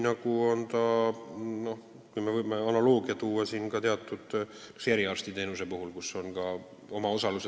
Me võime kõrvale tuua analoogia teatud eriarstiteenustega, kus on ka omaosalus olemas.